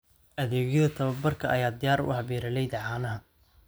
Adeegyada tababarka ayaa diyaar u ah beeralayda caanaha.